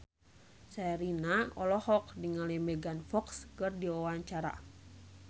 Sherina olohok ningali Megan Fox keur diwawancara